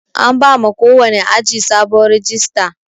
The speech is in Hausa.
An bama kowani aji sabon rajista.